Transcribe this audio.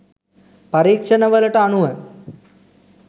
පරීක්ෂණ වලට අනුව